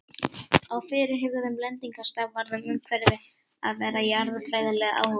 Á fyrirhuguðum lendingarstað varð umhverfið að vera jarðfræðilega áhugavert.